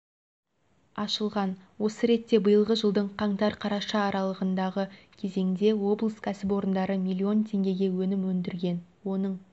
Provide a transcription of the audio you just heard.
ашылған осы ретте биылғы жылдың қаңтар-қараша аралығындағы кезеңде облыс кәсіпорындары миллион теңгеге өнім өндірген оның